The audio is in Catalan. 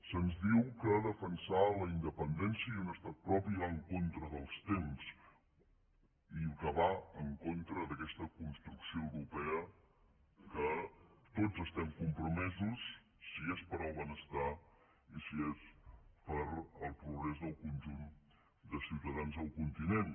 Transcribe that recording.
se’ns diu que defensar la independència i un estat propi va en contra dels temps i que va en contra d’aquesta construcció europea en què tots estem compromesos si és per al benestar i si és per al progrés del conjunt de ciutadans del continent